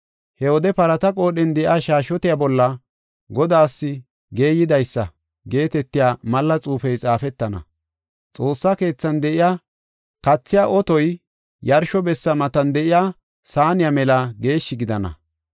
He wode parata qoodhen de7iya shaashshotiya bolla, “Godaas Geeyidaysa” geetetiya malla xuufey xaafetana. Xoossa keethan de7iya kathiya otoy yarsho bessa matan de7iya saaniya mela geeshshi gidana.